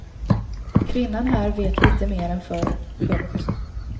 Kvinnan här vet litet mer än förr. punkt